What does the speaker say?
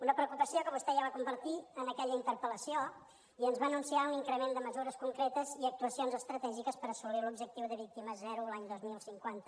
una preocupació que vostè ja va compartir en aquella interpel·lació i ens va anunciar un increment de mesures concretes i actuacions estratègiques per assolir l’objectiu de víctimes zero l’any dos mil cinquanta